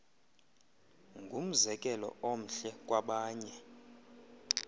ngumzekelo omhle kwabanye